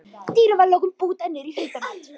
Dýrið var að lokum bútað niður í hundamat.